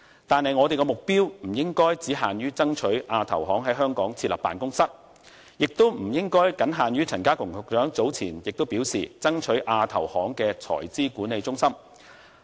但是，我們的目標不應只限於爭取亞投行在香港設立辦公室，也不應僅限於陳家強局長早前所表示，爭取亞投行的財資管理中心落戶香港。